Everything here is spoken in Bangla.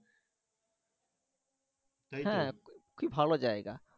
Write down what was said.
হ্যাঁ খুবই ভালো যাইগা।